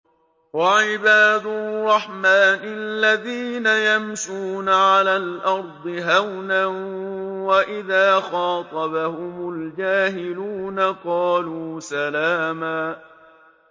وَعِبَادُ الرَّحْمَٰنِ الَّذِينَ يَمْشُونَ عَلَى الْأَرْضِ هَوْنًا وَإِذَا خَاطَبَهُمُ الْجَاهِلُونَ قَالُوا سَلَامًا